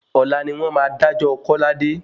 Ọ̀la ni wn máa dájọ́ kọ́ládé.